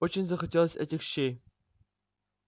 очень захотелось этих щей